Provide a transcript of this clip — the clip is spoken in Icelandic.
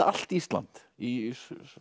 allt Ísland í